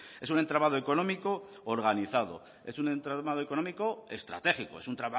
es un entramado económico organizado es un entramado económico estratégico es un